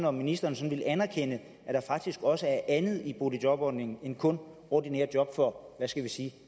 om ministeren vil anerkende at der faktisk også er andet i boligjobordningen end kun ordinære job for hvad skal vi sige